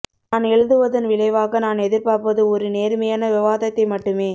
நான் எழுதுவதன் விளைவாக நான் எதிர்பார்ப்பது ஒரு நேர்மையான விவாதத்தை மட்டுமே